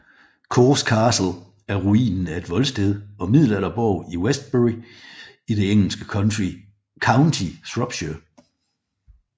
Caus Castle er ruinen af et voldsted og middelalderborg i i Westbury i det engelske county Shropshire